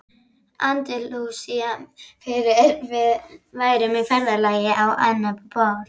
Andalúsíu fyrst við værum á ferðalagi á annað borð.